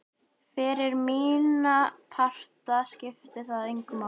Fyrir mína parta skipti það engu máli.